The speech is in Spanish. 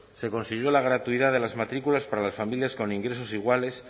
se consiguió la gratuidad de las matrículas para las familias con ingresos iguales